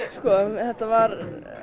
þetta var